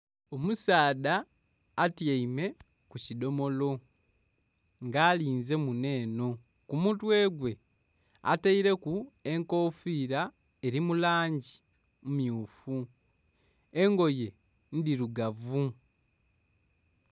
Omusaadha atyaime ku kidomolo nga alinze munho enho, ku mutwe gwe ataireku enkofira eri mu langi emmyufu engoye ndhirugavu.